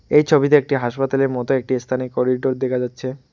এই ছবিতে একটি হাসপাতালের মত একটি স্থানে করিডোর দেখা যাচ্ছে।